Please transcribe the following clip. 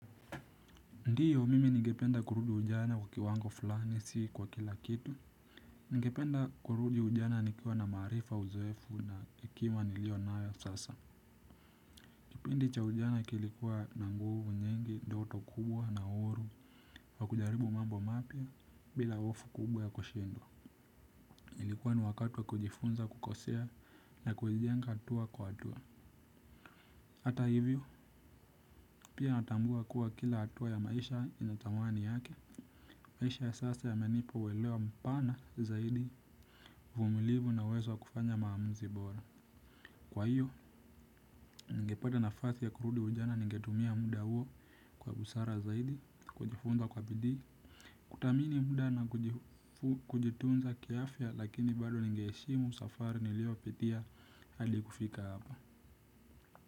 Ndiyo mimi ningependa kurudi ujana kwa kiwango fulani si kwa kila kitu nigependa kurudi ujana nikiwa na maarifa uzoefu na akiba niliyo nayo sasa kipindi cha ujana kilikuwa na nguvu nyingi ndoto kubwa na uhuru wa kujaribu mambo mapya bila hofu kubwa ya kushindwa ilikuwa ni wakati wa kujifunza kukosea na kuijenga hatua kwa hatua hata hivyo pia natambua kuwa kila hatua ya maisha ina tamani yake maisha ya sasa yamenipa welewa mpana zaidi. Uvumilivu na uwezo wa kufanya maamuzi bora. Kwa hiyo, ningepata nafasi ya kurudi ujana ningetumia muda huo kwa busara zaidi. Kujifunza kwa bidii. Kuthamini muda na kujitunza kiafya lakini bado ninge heshimu safari niliyo pitia hadi kufika hapa.